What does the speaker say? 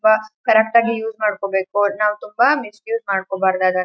Boss correct ಆಗಿ use ಮಾಡಬೇಕು ನಾವ್ ತುಂಬಾ ಮಿಸ್ ಯೂಸ್ ಮಾಡಕೋಬಾರದ್ ಅದನ್ನ.